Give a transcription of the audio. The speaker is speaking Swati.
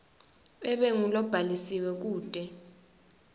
abe ngulobhalisiwe kute